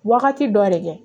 Wagati dɔ de kɛ